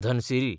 Dhansiri